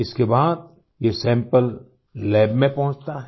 इसके बाद ये सैंपल लैब में पहुँचता है